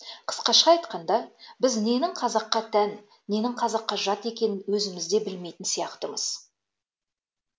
қысқаша айтқанда біз ненің қазаққа тән ненің қазаққа жат екенін өзіміз де білмейтін сияқтымыз